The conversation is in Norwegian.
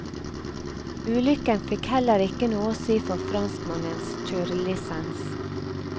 Ulykken fikk heller ikke noe å si for franskmannens kjørelisens.